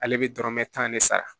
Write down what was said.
Ale bɛ dɔrɔmɛ tan de sara